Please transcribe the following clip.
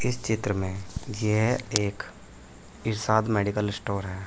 इस चित्र में यह एक इरशाद मेडिकल स्टोर है।